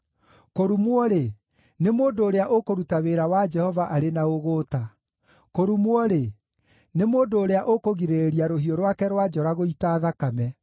“Kũrumwo-rĩ, nĩ mũndũ ũrĩa ũkũruta wĩra wa Jehova arĩ na ũgũũta! Kũrumwo-rĩ, nĩ mũndũ ũrĩa ũkũgirĩrĩria rũhiũ rwake rwa njora gũita thakame!